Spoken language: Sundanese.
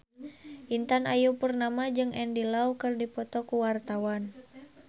Intan Ayu Purnama jeung Andy Lau keur dipoto ku wartawan